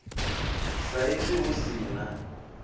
sa izwi hu si na